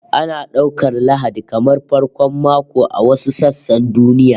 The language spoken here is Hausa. Ana daukar Lahadi kamar farkon mako a wasu sassan duniya